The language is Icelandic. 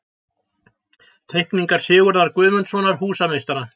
Teikningar Sigurðar Guðmundssonar, húsameistara.